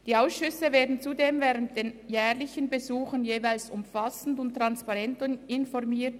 Die Ausschüsse werden zudem während der jährlichen Besuche jeweils umfassend und transparent informiert.